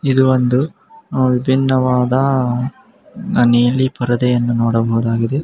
ಇದು ಒಂದು ಅ ವಿಭೀನ್ನವಾದ ಮನೆಯಲ್ಲಿ ಪರದೆಯನ್ನು ನೋಡಬಹುದಾಗಿದೆ.